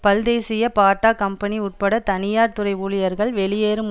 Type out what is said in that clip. பல்தேசிய Bata company உட்பட்ட தனியார் துறை ஊழியர்கள் வெளியேறும்